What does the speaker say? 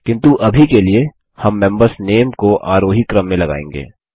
किन्तु अभी के लिए हम मेंबर नेम्स को आरोही क्रम में लगाएँगे